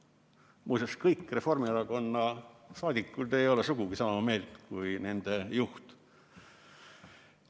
Muuseas, kõik Reformierakonna saadikud ei ole sugugi sama meelt kui nende juht.